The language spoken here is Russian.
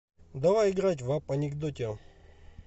давай играть в апп анекдотио